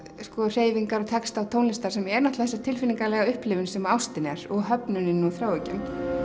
hreyfingar texta og tónlistar sem er náttúrulega þessi tilfinningalega upplifun sem ástin er og höfnunin og þráhyggjan